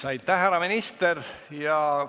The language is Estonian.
Aitäh, härra minister!